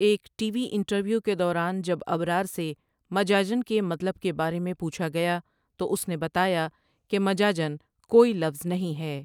ایک TV interview کے دوران جب ابرار سے مجاجن کے مطلب کے بارے میں پوچھا گیا تو اس نے بتایا کہ مجاجن کوئی لفظ نہیں ہے ۔